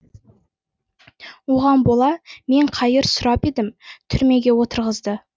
оған бола мен қайыр сұрап едім түрмеге отырғызды